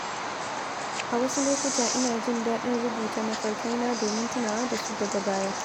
A wasu lokuta, ina jin daɗin rubuta mafarkai na domin tunawa da su daga baya.